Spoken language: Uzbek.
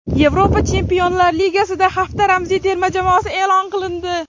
Yevropa Chempionlar Ligasida hafta ramziy terma jamoasi e’lon qilindi !